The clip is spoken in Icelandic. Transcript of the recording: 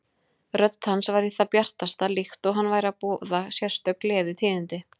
Rödd hans var í það bjartasta, líkt og hann væri að boða sérstök gleðitíðindi.